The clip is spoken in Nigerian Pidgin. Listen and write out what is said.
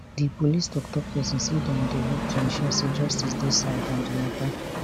di police toktok pesin say dem dey work to ensure say justice dey served on di mata